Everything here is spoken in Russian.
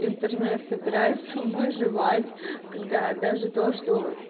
интернет собирается выживать когда даже то что